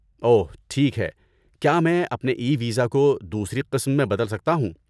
اوہ، ٹھیک ہے کیا میں اپنے ای ویزا کو دوسری قسم میں بدل سکتا ہوں؟